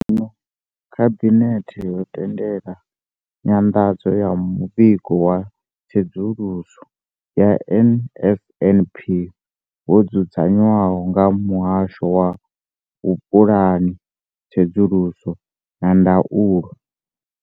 Zwenezwino, Khabinethe yo tendela nyanḓadzo ya Muvhigo wa Tsedzuluso ya NSNP wo dzudzanywaho nga Muhasho wa Vhupulani, Tsedzuluso na Ndaulo.